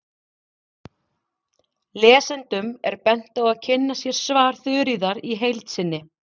Lesendum er bent á að kynna sér svar Þuríðar í heild sinni.